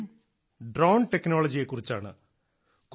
ഈ വിഷയം ഡ്രോൺ ടെക്നോളജിയെ കുറിച്ചാണ്